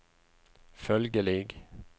følgelig